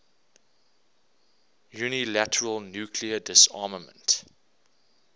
unilateral nuclear disarmament